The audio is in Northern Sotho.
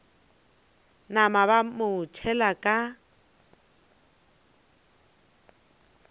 napa ba mo tšhela ka